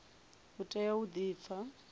u tea u di pfa